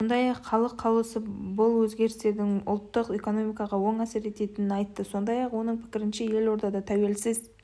сондай-ақ халық қалаулысы бұл өзгерістердің ұлттық экономикаға оң әсер еткенін айтты сондай-ақ оның пікірінше елордада тәуелсіз